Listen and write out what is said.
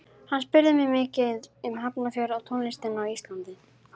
Hann spurði mig mikið um Hafnarfjörð og tónlistina á Íslandi.